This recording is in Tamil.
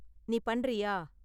நீ பண்றியா?